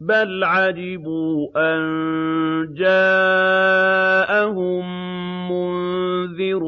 بَلْ عَجِبُوا أَن جَاءَهُم مُّنذِرٌ